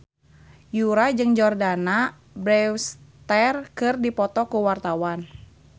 Yura jeung Jordana Brewster keur dipoto ku wartawan